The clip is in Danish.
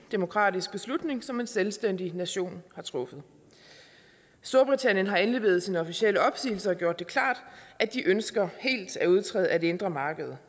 demokratisk beslutning som en selvstændig nation har truffet storbritannien har indleveret sin officielle opsigelse og gjort det klart at de ønsker helt at udtræde af det indre marked